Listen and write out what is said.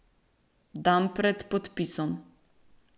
Dan pred podpisom.